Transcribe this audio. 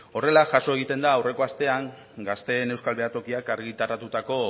horrela jaso egiten da aurreko astean gazteen euskal behatokiak argitaratutako